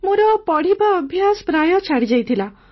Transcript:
ମୋର ପଢ଼ିବା ଅଭ୍ୟାସ ପ୍ରାୟ ଛାଡ଼ିଯାଇଥିଲା